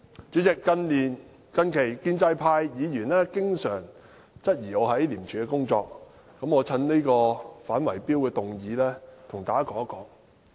主席，近日建制派議員經常質疑我在廉政公署的工作，我藉着這項反圍標的議案，跟大家說一說。